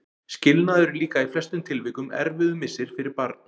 Skilnaður er líka í flestum tilvikum erfiður missir fyrir barn.